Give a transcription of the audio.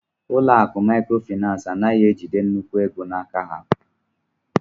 Ụlọ akụ maịkrofịnansị anaghị ejide nnukwu ego n'aka ha